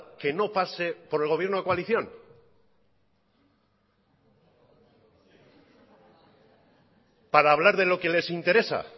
que no pase por el gobierno de coalición para hablar de lo que les interesa